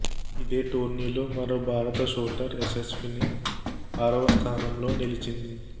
ఇదే టోర్నీలో మరో భారత షూటర్ యశశ్విని ఆరవ స్థానంలో నిలిచింది